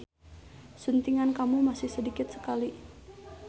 Suntingan kamu masih sedikit sekali.